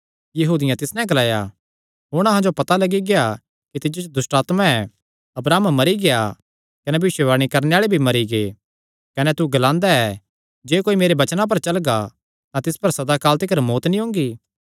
यहूदियां तिस नैं ग्लाया हुण अहां जो पता लग्गी गेआ कि तिज्जो च दुष्टआत्मा ऐ अब्राहम मरी गेआ कने भविष्यवाणी करणे आल़े भी मरी गै कने तू ग्लांदा ऐ जे कोई मेरे वचनां पर चलगा तां तिस पर सदा काल तिकर मौत्त नीं ओंगी